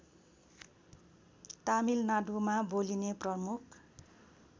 तमिलनाडुमा बोलिने प्रमुख